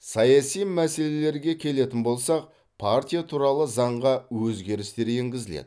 саяси мәселелерге келетін болсақ партия туралы заңға өзгерістер енгізіледі